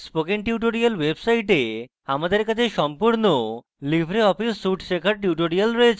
spoken tutorials website আমাদের কাছে সম্পূর্ণ libreoffice suite শেখার tutorials রয়েছে